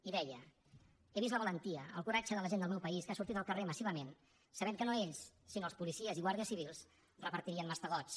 i hi deia he vist la valentia el coratge de la gent del meu país que ha sortit al carrer massivament sabent que no ells sinó els policies i guàrdies civils repartirien mastegots